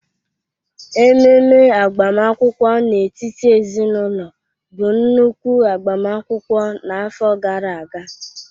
Ememe agbamakwụkwọ n'etiti ezinaụlọ bụ nnukwu agbamakwụkwọ n'afọ gara aga